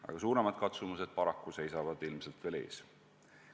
Aga suuremad katsumused seisavad paraku ilmselt veel ees.